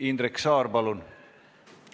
Jah, Indrek Saar, palun!